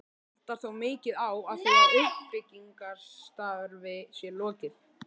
Vantar þó mikið á, að því uppbyggingarstarfi sé lokið.